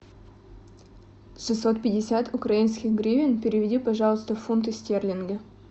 шестьсот пятьдесят украинских гривен переведи пожалуйста в фунты стерлинги